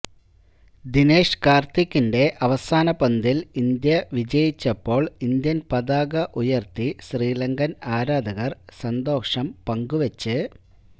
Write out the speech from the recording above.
ദിനേശ് കാർത്തിക്കിന്റെ അവസാന പന്തിൽ ഇന്ത്യ വിജയിച്ചപ്പോൾ ഇന്ത്യൻ പതാക ഉയർത്തി ശ്രീലങ്കൻ ആരാധകർ സന്തോഷം പങ്കു വച്ച്